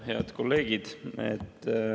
Head kolleegid!